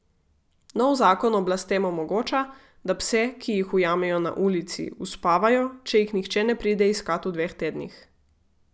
Novi zakon oblastem omogoča, da pse, ki jih ujamejo na ulici, uspavajo, če jih nihče ne pride iskat v dveh tednih.